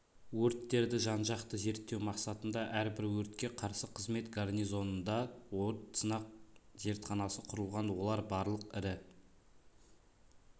өрттерді жан-жақты зерттеу мақсатында әрбір өртке қарсы қызмет гарнизонында өрт сынақ зертханасы құрылған олар барлық ірі